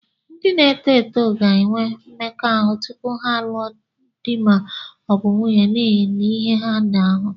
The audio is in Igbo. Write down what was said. Ndị na-eto eto ga-enwe mmekọahụ tupu ha alụọ di ma ọ bụ nwunye n'ihi ihe ha na-ahụ